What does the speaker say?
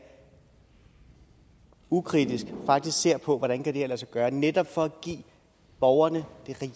ukritisk og faktisk ser på hvordan kan lade sig gøre netop for at give borgerne det